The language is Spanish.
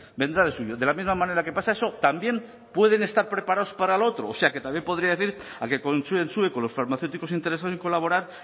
vendrá del suyo de la misma manera que pasa eso también pueden estar preparados para lo otro o sea que también podría decir a que consensue con los farmacéuticos interesados en colaborar